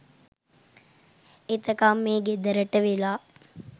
එතකං මේ ගෙදරට වෙලා